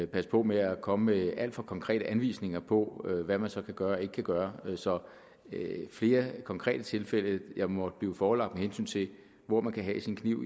passe på med at komme med alt for konkrete anvisninger på hvad man så kan gøre og ikke kan gøre så flere konkrete tilfælde jeg måtte blive forelagt med hensyn til hvor man kan have sin kniv